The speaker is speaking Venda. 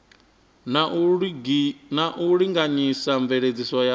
na u linganyisa mveledziso ya